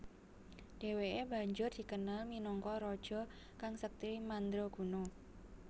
Dheweke banjur dikenal minangka raja kang sekti mandraguna